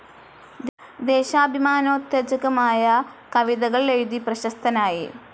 ദേശാഭിമാനോത്തേജകമായ കവിതകൾ എഴുതി പ്രശസ്തനായി.